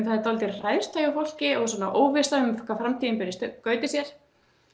það er dálítil hræðsla í fólki og óvissa um hvað framtíðin ber í skauti sér